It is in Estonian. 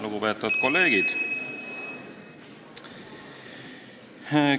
Lugupeetavad kolleegid!